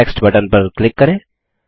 next button पर click करें